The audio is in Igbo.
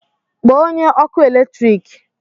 Kpọọ onye ọkụ eletrik!